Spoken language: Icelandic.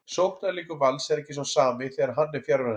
Sóknarleikur Vals er ekki sá sami þegar hann er fjarverandi.